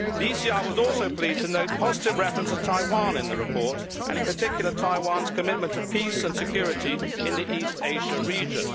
The ECR was also pleased to note a positive reference to Taiwan in the report and in particular Taiwan's commitment to peace and security in the East Asia region.